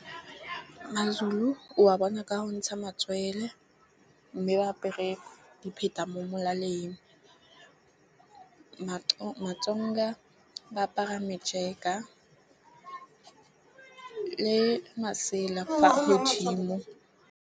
Ma-Zulu wa bona ka go ntsha matswele, mme ba apere dipheta mo molaleng. Ma-Tsonga ba apara le masela fa godimo.